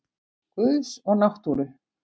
Guðs og náttúru.